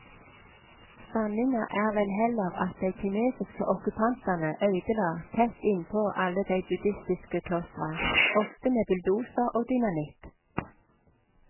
Sanninga er vel heller at dei kinesiske okkupantane øydela tett innpå alle dei buddistiske klostra, ofte med bulldoser og dynamitt.